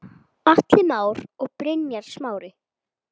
Atli Már og Brynjar Smári.